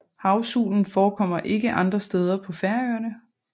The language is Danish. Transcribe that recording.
Havsulen forekommer ikke andre steder på Færøerne